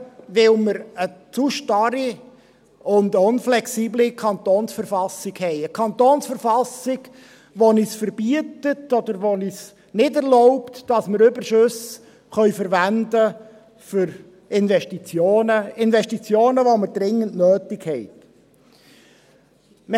– Weil wir eine zu starre und unflexible Kantonsverfassung haben, eine Verfassung des Kantons Bern (KV), die es uns verbietet oder nicht erlaubt, Überschüsse für Investitionen, die wir dringend nötig haben, zu verwenden.